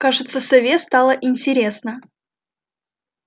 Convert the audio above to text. кажется сове стало интересно